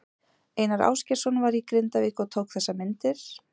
Einar Ásgeirsson var í Grindavík og tók þessar myndir.